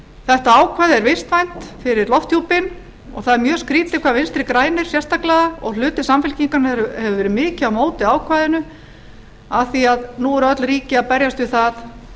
þetta ákvæði er vistvænt fyrir lofthjúpinn og það er mjög skrýtið hvað vinstri grænir sérstaklega og hluti samfylkingarinnar hefur verið mikið á móti ákvæðinu af því nú eru öll ríki að berjast við það